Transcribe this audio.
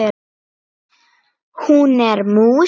Hún er mús.